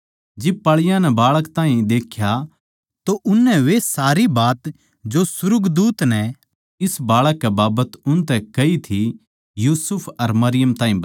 जिब पाळीयाँ नै बाळक ताहीं देख्या तो उननै वे सारी बात जो सुर्गदूत नै इस बाळक कै बाबत उनतै कही थी यूसुफ अर मरियम ताहीं बताई